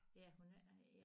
Ja hun ikke